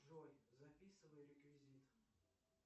джой записывай реквизиты